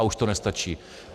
A už to nestačí.